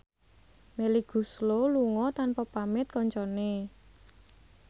Melly Goeslaw lunga tanpa pamit kancane